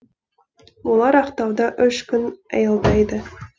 олар ақтауда үш күн аялдайды